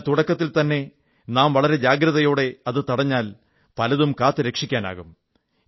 എന്നാൽ തുടക്കത്തിൽതന്നെ നാം വളരെ ജാഗ്രതയോടെ അത് തടഞ്ഞാൽ പലതും കാത്തുരക്ഷിക്കാനാകും